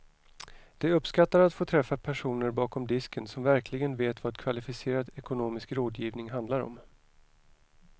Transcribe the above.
De uppskattar att få träffa personer bakom disken som verkligen vet vad kvalificerad ekonomisk rådgivning handlar om.